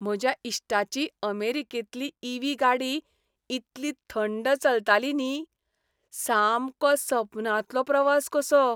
म्हज्या इश्टाची अमेरिकेंतली ई. व्ही. गाडी इतली थंड चलताली न्ही, सामको सपनांतलो प्रवास कसो.